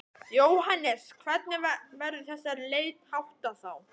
Jóhannes: Hvernig verður þessari leit háttað þá?